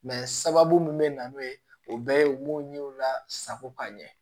Mɛ sababu min bɛ na n'o ye o bɛɛ ye u b'o ɲɛw lasago ka ɲɛ